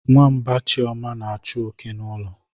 Nwamba chioma na-achu oke n'ụlọ.